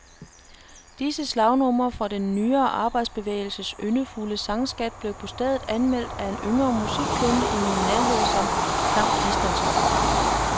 Disse slagnumre fra den nyere arbejderbevægelses yndefulde sangskat blev på stedet anmeldt af en yngre musikkyndig i min nærhed som, klam bistandsrock.